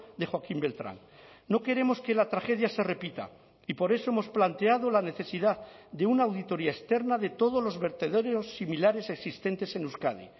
de joaquín beltrán no queremos que la tragedia se repita y por eso hemos planteado la necesidad de una auditoría externa de todos los vertederos similares existentes en euskadi